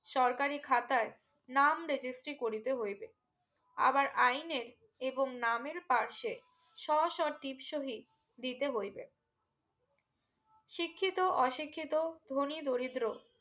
সরকারি খাতায় নাম registry করিতে হইবে আবার আইনে এবং নামের পাশে শো শো টিপ সহি দিতে হইবে শিক্ষিত অশিক্ষিত ধনী দরিদ্র